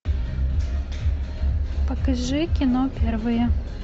покажи кино первое